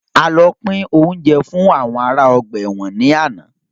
A lọ pin oúnjẹ fún àwọn ará ọgbà ẹ̀wọ̀n ni àná.